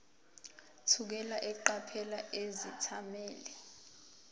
thukela eqaphela izethameli